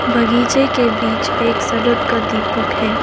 बगीचे के बीच एक सड़क का दीपक है।